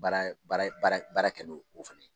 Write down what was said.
Baara baara baara baara kɛ no o fana ye.